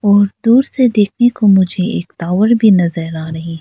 और दूर से देखने को मुझे एक टावर भी नजर आ रही।